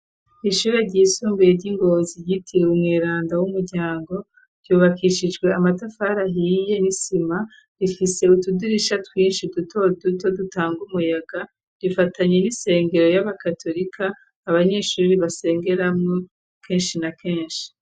Ishure ryisumbuye ryi Ngozi ryitiriwe umwiranda w'umuryango ryubakishijwe amatafari ahiye n'isima .Rifise utudirisha twinshi duto duto dutanga umuyaga rifatanye n'isengero y'abakatolika abanyeshuri basengeramu kenshi na kenshi.